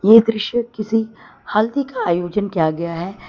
ये दृश्य किसी हल्दी का आयोजन किया गया है।